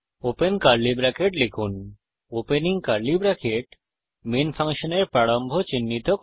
open curly bracket লিখুন opening curly bracket main ফাংশনের প্রারম্ভ চিহ্নিত করে